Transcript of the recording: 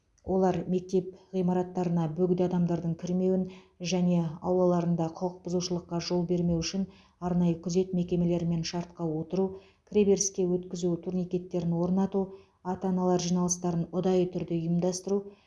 олар мектеп ғимараттарына бөгде адамдардың кірмеуін және аулаларында құқық бұзушылыққа жол бермеу үшін арнайы күзет мекемелерімен шартқа отыру кіреберіске өткізу турникеттерін орнату ата аналар жиналыстарын ұдайы түрде ұйымдастыру